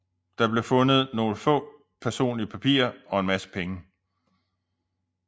Der blev fundet nogle få personlige papirer og en masse penge